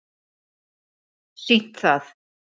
sýnt það